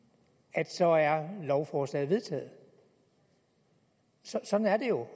at så er lovforslaget vedtaget sådan er det jo